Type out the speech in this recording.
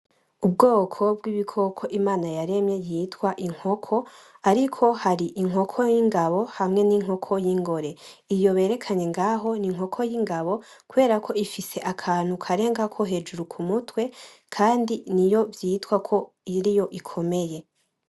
Ubwoko bw’ibikoko Imana yaremye bwitwa inkoko ariko hari Inkoko y’ingabo hamwe n’inkoko u’ingore iyo berekkanye ngaho n’inkoko y’ingabo kuberako ifise akantu karengako hejuru k’umutwe kandi niyo vyitwa ko iriyo ikomeye.